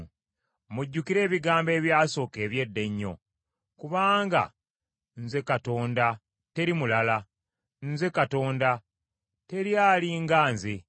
Mujjukire ebigambo ebyasooka eby’edda ennyo. Kubanga nze Katonda, teri mulala. Nze Katonda, teri ali nga nze;